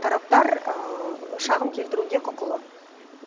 тараптар шағым келтіруге құқылы